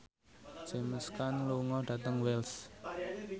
James Caan lunga dhateng Wells